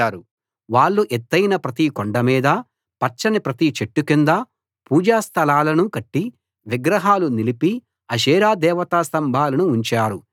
వాళ్ళు ఎత్తయిన ప్రతి కొండ మీదా పచ్చని ప్రతి చెట్టు కిందా పూజా స్థలాలను కట్టి విగ్రహాలు నిలిపి అషేరా దేవతాస్తంభాలను ఉంచారు